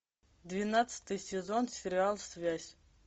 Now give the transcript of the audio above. двенадцатый сезон сериал связь